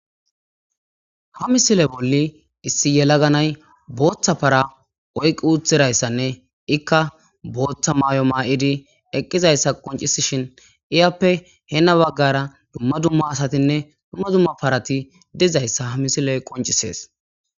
Ha misile bolli issi yela ganay booththa para oyqqi uuthirayssanne ikka booththa maay'o maa'idi eqqizayssa qoncisishin iyappe heena baggara dumma dumma asatinne dumma dumma parati dizayssa ha misile qoncisees.